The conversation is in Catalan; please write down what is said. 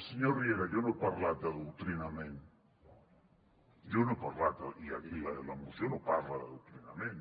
senyor riera jo no he parlat d’adoctrinament jo no he parlat d’adoctrinament i la moció no parla d’adoctrinament